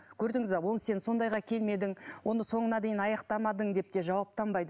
көрдіңіз бе оны сен сондайға келмедің онда соңына дейін аяқтамадың деп те жауаптанбайды